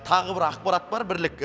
тағы бір ақпарат бар бірлік